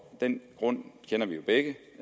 den grund kender vi jo begge